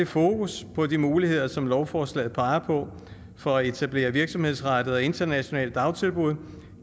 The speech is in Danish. fokus på de muligheder som lovforslaget peger på for at etablere virksomhedsrettede internationale dagtilbud